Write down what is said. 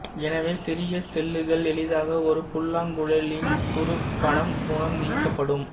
எனவே சிறிய சில்லுகள் எளிதாக ஒரு புல்லாங்குழலின் துரப்பணம் மூலம் நீக்கப்படும்